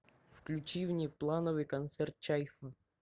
включи внеплановый концерт чайфа